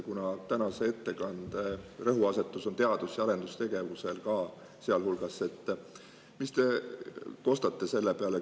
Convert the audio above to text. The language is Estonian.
Kuna tänase ettekande rõhuasetus on teadus- ja arendustegevusel, siis küsin, mis te kostate selle peale.